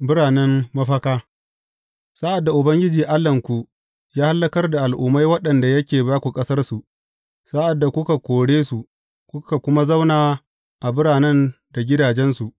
Biranen Mafaka Sa’ad da Ubangiji Allahnku ya hallakar da al’ummai waɗanda yake ba ku ƙasarsu, sa’ad da kuka kore su, kuka kuma zauna a birane da gidajensu,